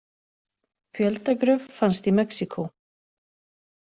Fjöldagröf fannst í Mexíkó